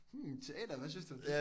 Mhm teater hvad synes du om det?